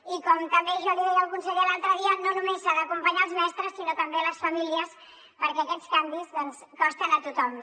i com també jo li deia al conseller l’altre dia no només s’ha d’acompanyar els mestres sinó també les famílies perquè aquests canvis costen a tothom